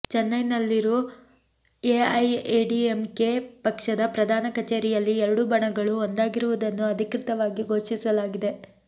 ಚೆನ್ನೈನಲ್ಲಿರು AIADMK ಪಕ್ಷದ ಪ್ರಧಾನ ಕಚೇರಿಯಲ್ಲಿ ಎರಡೂ ಬಣಗಳು ಒಂದಾಗಿರುವುದನ್ನು ಅಧಿಕೃತವಾಗಿ ಘೋಷಿಸಲಾಗಿದೆ